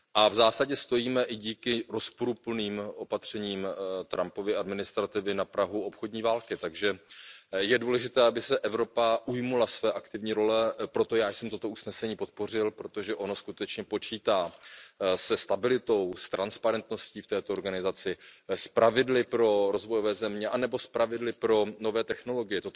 V zásadě stojíme i díky rozporuplným opatřením Trumpovy administrativy na prahu obchodní války, takže je důležité, aby se Evropa ujmula své aktivní role, proto já jsem toto usnesení podpořil, protože ono skutečně počítá se stabilitou, s transparentností v této organizaci, s pravidly pro rozvojové země anebo s pravidly pro nové technologie.